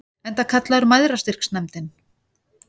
Enda kallaður Mæðrastyrksnefndin.